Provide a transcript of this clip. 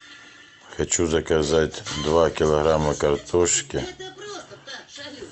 хочу заказать два килограмма картошки